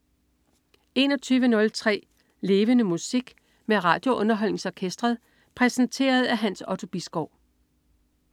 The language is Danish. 21.03 Levende Musik. Med RadioUnderholdningsOrkestret. Præsenteret af Hans Otto Bisgaard